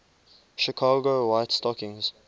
chicago white stockings